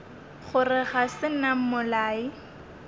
gore ga se nna mmolai